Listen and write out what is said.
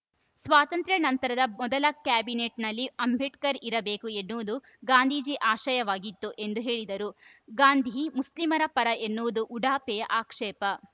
ಸ್ವಾತಂತ್ರ್ಯ ನಂತರದ ಮೊದಲ ಕ್ಯಾಬಿನೆಟ್‌ನಲ್ಲಿ ಅಂಬೇಡ್ಕರ್‌ ಇರಬೇಕು ಎನ್ನುವುದು ಗಾಂಧೀಜಿ ಆಶಯವಾಗಿತ್ತು ಎಂದು ಹೇಳಿದರು ಗಾಂಧಿ ಮುಸ್ಲೀಮರ ಪರ ಎನ್ನುವುದು ಉಡಾಫೆಯ ಆಕ್ಷೇಪ